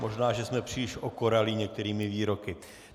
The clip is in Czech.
Možná že jsme příliš okoralí některými výroky.